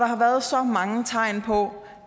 har været så mange tegn på